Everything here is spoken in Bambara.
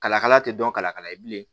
Kala kala tɛ dɔn kala kala ye bilen